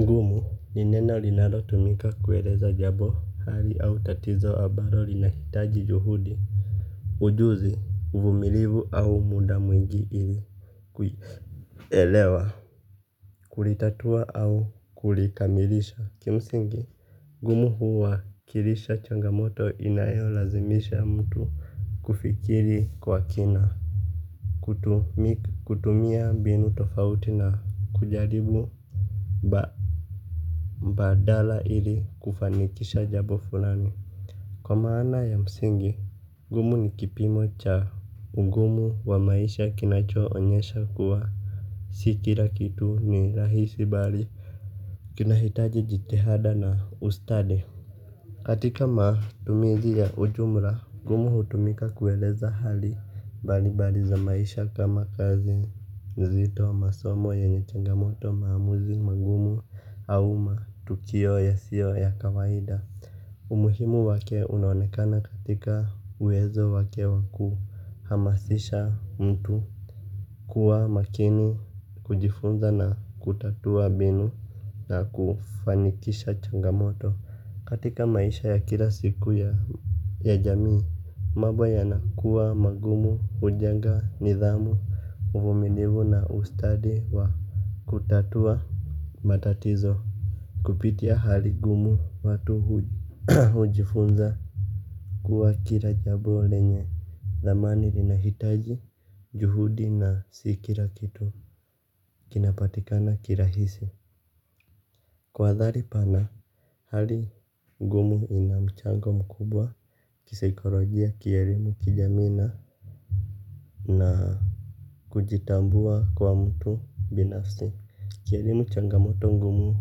Ngumu ni neno linalotumika kueleza jabo kali au tatizo abalo linahitaji juhudi. Ujuzi uvumilivu au muda mwingi ili Kuielewa Kulitatua au kulikamilisha kimsingi ngumu huwa kilisha changamoto inayo lazimisha mtu. Kufikiri kwa kina. Kutumia mbinu tofauti na kujaribu Ba, mbadala ili kufanikisha jabo fulani. Kwa maana ya msingi, gumu ni kipimo cha ugumu wa maisha kinacho onyesha kuwa si kila kitu ni rahisi bali. Kinahitaji jithahada na ustadi. Katika matumizi ya ujumla, gumu hutumika kueleza hali balibali za maisha kama kazi. Zito masomo yenye changamoto maamuzi magumu au matukio ya sio ya kawaida. Umuhimu wake unaonekana katika uwezo wake wakuu hamasisha mtu kuwa makini kujifunza na kutatua mbinu na kufanikisha changampt ya jamii Ma boyana kuwa magumu kujenga nidhamu uvumilivu na ustadi wa kutatua matatizo. Kupitia hali gumu watu hujifunza. Kuwa kila jabo lenye thamani linahitaji juhudi na si kira kitu kinapatikana kirahisi. Kwa dhali pana hali gumu inamchango mkubwa kisaikolojia kielimu kijamii na kujitambua kwa mtu binafsi. Kielimu changamoto ngumu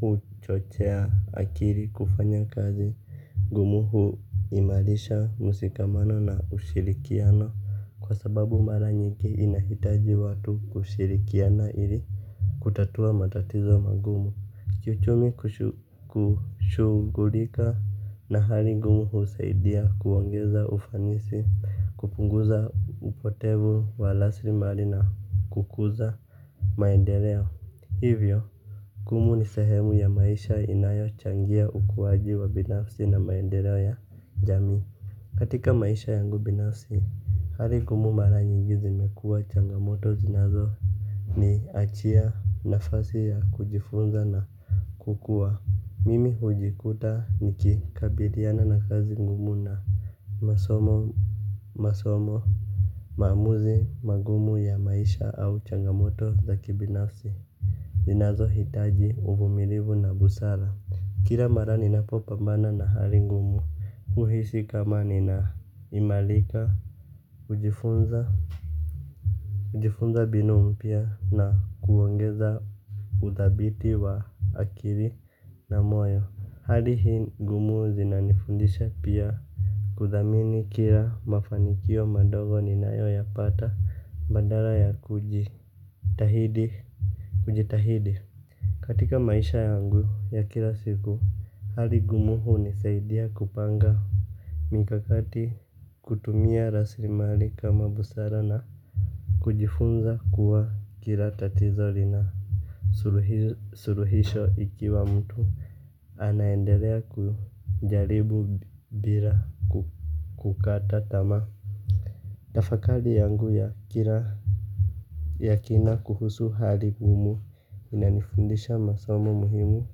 huu chochea akiri kufanya kazi. Ngumu huu imalisha musikamano na ushirikiano. Kwa sababu maranyingi inahitaji watu kushirikiana ili kutatua matatizo magumu. Kiuchumi kushugulika na hali ngumu huu saidia kuongeza ufanisi kupunguza upotevu wa lasrimali na kukuza maendeleo hivyo gumu ni sehemu ya maisha inayo changia ukuwaji wa binafsi na maendeleo ya jamii katika maisha yangu binafsi hari ngumu mara nyingi zi mekua changamoto zinazo ni achia nafasi ya kujifunza na kukua mimi hujikuta nikikabiriana na kazi ngumu na masomo. Masomo. Maamuzi magumu ya maisha au changamoto za kibinafsi. Zinazo hitaji uvumilivu na busara. Kira mara ni napopambana na hali ngumu. Uhishi kama ni na imalika hujifunza hujifunza binu mpya na kuongeza uthabiti wa akili na moyo. Hali hii ngumu zinanifundisha pia. Kuthamini kila mafanikio madogo ni nayo ya pata bandara ya kujitahidi. Kujitahidi. Katika maisha yangu ya kila siku hali gumu hunisaidia kupanga mikakati kutumia raslimsli kama busara na kujifunza kuwa kila tatizo lina suluhisho ikiwa mtu anaendelea kujaribu bila kukata tama. Tafakali yangu ya kira yakina kuhusu hali ngumu inanifundisha masomo muhimu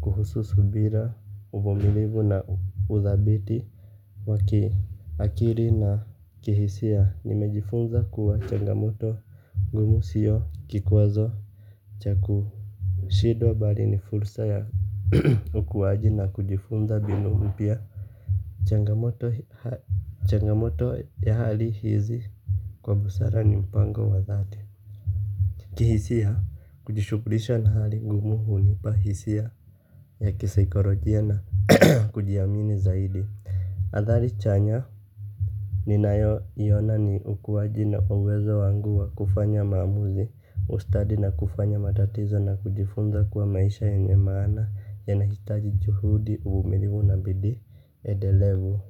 kuhusu subira uvumilivu na uthabiti waki akili na kihisia nimejifunza kuwa chamgamoto ngumu sio kikwazo. Chaku shidwa bali ni fursa ya ukuwaji na kujifunza binu mpya. Changamoto ya hali hizi. Kwa busara ni mpango wa thati. Kihisia kujishugulisha na hali ngumu hunipa hisia ya kisaikorojia na kujiamini zaidi. Athali chanya ni nayo iona ni ukuwaji na uwezo wangu wa kufanya maamuzi. Ustadi na kufanya matatizo na kujifunza kuwa maisha yenye maana yanahitaji juhudi uvumilivu na bidii edelevu.